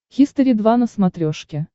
хистори два на смотрешке